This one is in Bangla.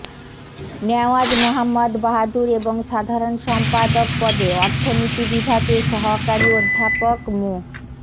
নেওয়াজ মোহাম্মদ বাহাদুর এবং সাধারণ সম্পাদক পদে অর্থনীতি বিভাগের সহকারী অধ্যাপক মো